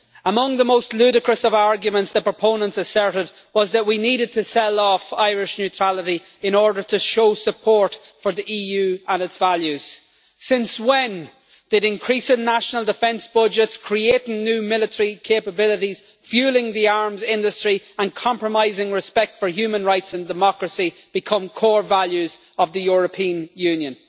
Among the most ludicrous of arguments the proponents asserted was that we needed to sell off Irish neutrality in order to show support for the EU and its values. Since when did increasing national defence budgets, creating new military capabilities, fuelling the arms industry and compromising respect for human rights and democracy become core values of the European Union?